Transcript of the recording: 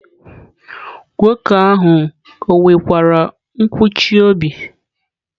Nwoke ahụ ọ nwekwara nkụchi obi?